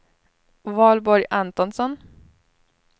Valborg Antonsson